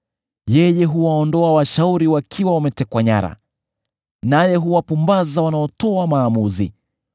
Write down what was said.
Yeye huwaondoa washauri wakiwa wametekwa nyara, naye huwapumbaza wanaotoa maamuzi.